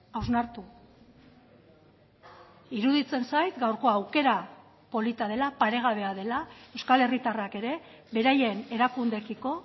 hausnartu iruditzen zait gaurko aukera polita dela paregabea dela euskal herritarrak ere beraien erakundeekiko